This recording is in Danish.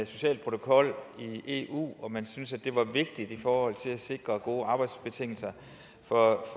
social protokol i eu og at man synes at det er vigtigt i forhold til at sikre gode arbejdsbetingelser for